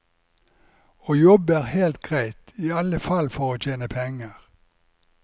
Å jobbe er helt greit, i alle fall for å tjene penger.